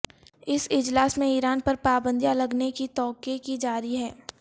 اس اجلاس میں ایران پر پابندیاں لگنے کی توقع کی جارہی ہے